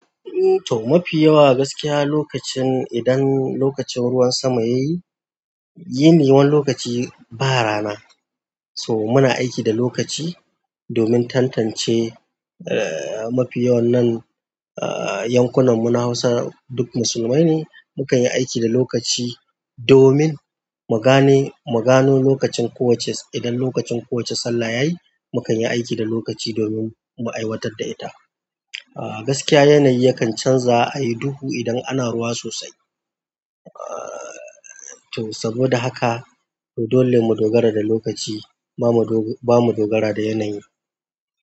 To mafi yawa gaskiya lokacin idan lokacin ruwan sama yayi, yini wani lokaci ba rana. So muna aiki da lokaci domin tantance, eh, mafi yawan nan, eh, yankunan mu na Hausa duk musulmai ne. Mukan yi aiki da lokaci domin mu gane, mu gano lokacin kowacce idan lokacin kowace sallah yayi, mu kanyi aiki da lokaci domin mu aiwatar da ita. Gaskiya yanayi yakan canza a yi duhu idan ana ruwa sosai. Ahhh, to saboda haka dole mu dogara da lokaci, bamu dogara, bamu dogara da yanayi.